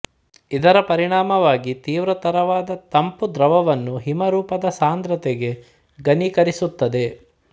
ಇದರ ಪರಿಣಾಮವಾಗಿ ತೀವ್ರತರವಾದ ತಂಪು ದ್ರವವನ್ನು ಹಿಮ ರೂಪದ ಸಾಂದ್ರತೆಗೆ ಘನೀಕರಿಸುತ್ತದೆ